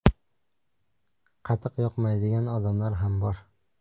Qatiq yoqmaydigan odamlar ham bor.